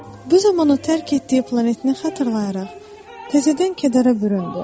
Bu zaman o tərk etdiyi planetini xatırlayaraq təzədən kədərə büründü.